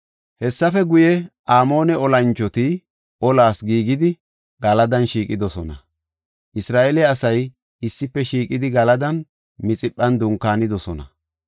Hessafe guye, Amoone olanchoti olas giigidi, Galadan shiiqidosona. Isra7eele asay issife shiiqidi Galadan Mixiphan dunkaanidosona.